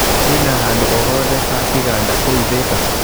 kwina handũ ohothe ha kiganda kũu thika